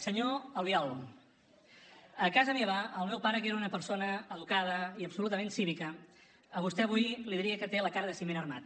senyor albiol a casa meva el meu pare que era una persona educada i absolutament cívica a vostè avui li diria que té la cara la ciment armat